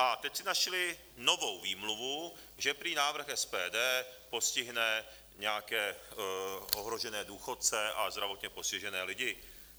A teď si našli novou výmluvu, že prý návrh SPD postihne nějaké ohrožené důchodce a zdravotně postižené lidi.